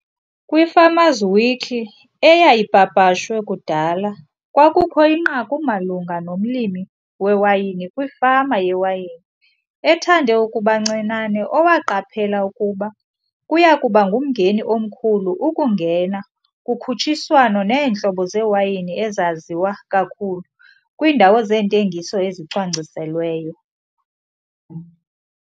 KwiFarmer's Weekly eyayipapashwe kudala, kwakukho inqaku malunga nomlimi wewayini kwifama yewayini ethande ukuba ncinane owaqaphela ukuba kuya kuba ngumngeni omkhulu ukungena kukhutshiswano neentlobo zewayini ezaziwa kakhulu kwiindawo zentengiso ezicwangciselweyo.